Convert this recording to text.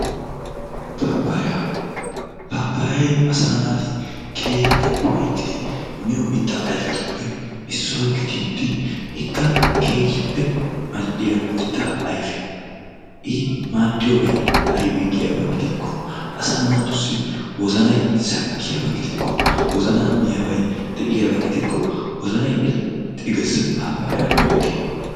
Pappaya. pappayay asa naati keehippe ufayttidi miyo mitta ayfetuppe issuwa gididi ikka keehippe mal'iya mitta ayfee. I maadiyobay aybe giyaba gidiko asa naatusi wozanay sakiyaba gidiko wozana miyabay deiyaba gidiko wozanay irxxi gees; pappaya miyo wode.